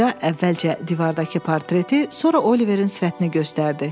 Qoca əvvəlcə divardakı portreti, sonra Oliverin sifətini göstərdi.